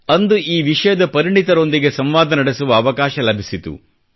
ಅಂದು ಈ ವಿಷಯದ ಪರಿಣಿತರೊಂದಿಗೆ ಸಂವಾದ ನಡೆಸುವ ಅವಕಾಶ ಲಭಿಸಿತು